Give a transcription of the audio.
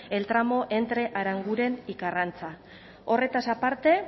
el tramo entre aranguren y karrantza horretaz aparte